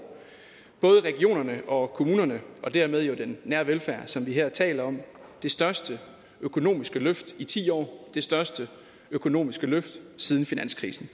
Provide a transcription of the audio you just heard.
både regionerne og kommunerne og dermed jo den nære velfærd som vi her taler om det største økonomiske løft i ti år og det største økonomiske løft siden finanskrisen